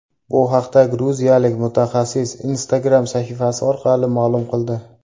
Bu haqda gruziyalik mutaxassis Instagram sahifasi orqali ma’lum qildi .